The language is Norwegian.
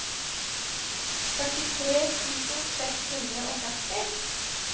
førtitre tusen seks hundre og førti